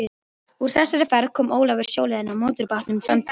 Úr þessari ferð kom Ólafur sjóleiðina á mótorbátnum Framtíðinni.